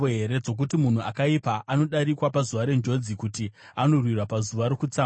dzokuti munhu akaipa anodarikwa pazuva renjodzi, kuti anorwirwa pazuva rokutsamwa?